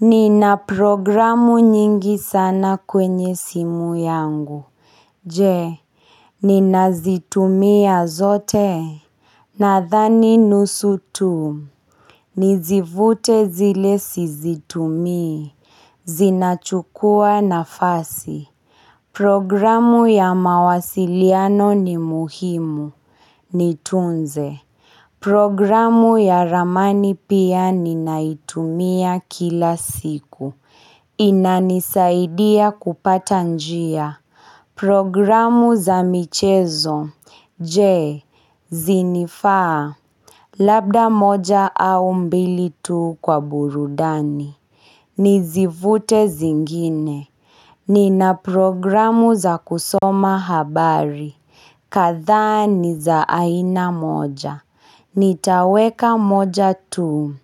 Nina programu nyingi sana kwenye simu yangu. Je, ninazitumia zote. Nadhani nusu tu. Nizivute zile sizitumi. Zinachukua nafasi. Programu ya mawasiliano ni muhimu. Nitunze. Programu ya ramani pia ninaitumia kila siku. Inanisaidia kupata njia Programu za michezo Je, zinafaa Labda moja au mbili tu kwa burudani Nizivute zingine Nina programu za kusoma habari kadha ni za aina moja Nitaweka moja tu